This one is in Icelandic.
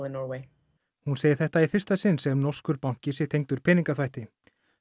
hún segir þetta í fyrsta sinn sem norskur banki sé tengdur peningaþvætti